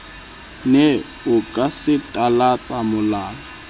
ne o ka satalatsa molala